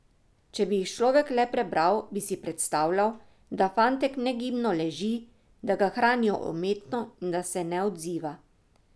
Če bi jih človek le prebral, bi si predstavljal, da fantek negibno leži, da ga hranijo umetno in da se ne odziva.